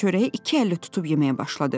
Çörəyi iki əlli tutub yeməyə başladı.